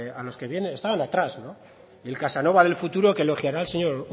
a los que estaban atrás el casanova del futuro que elogiará al señor